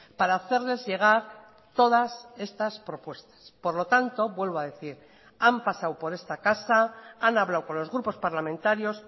para hacerles llegar todas estas propuestas por lo tanto vuelvo a decir han pasado por esta casa han hablado con los grupos parlamentarios